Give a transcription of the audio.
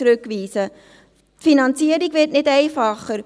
Die Finanzierung wird nicht einfacher;